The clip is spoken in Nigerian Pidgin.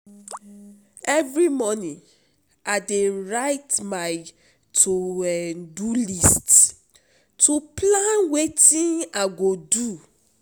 Every morning, I dey write my to-do list to plan wetin I go do.